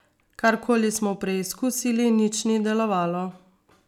Karkoli smo preizkusili, nič ni delovalo.